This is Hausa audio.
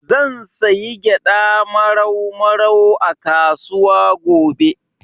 Zan sayi gyaɗa Marau Marau a kasuwa gobe.